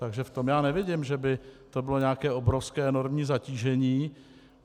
Takže v tom já nevidím, že by to bylo nějaké obrovské, enormní zatížení.